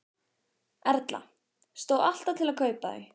Erla: Stóð alltaf til að kaupa þau?